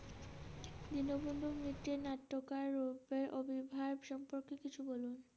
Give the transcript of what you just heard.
দীনবন্ধুর মিত্রের নাট্যকার রূপের অবির্ভাব সম্পর্কে কিছু বলুন।